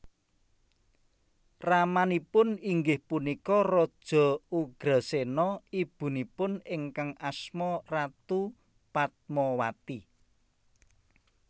Ramanipun inggih punika Raja Ugrasena Ibunipun ingkang asma Ratu Padmawati